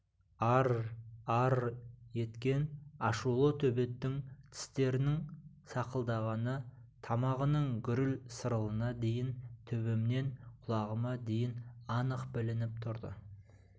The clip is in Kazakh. ар-р-ар-р еткен ашулы төбеттің тістерінің сақылдағаны тамағының гүріл-сырылына дейін төбемнен құлағыма дейін анық білініп тұрды